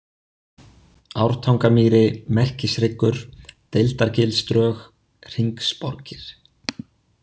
Ártangamýri, Merkishryggur, Deildargilsdrög, Hringsborgir